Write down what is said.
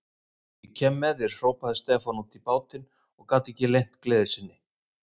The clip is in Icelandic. Ég kem með þér, hrópaði Stefán út í bátinn og gat ekki leynt gleði sinni.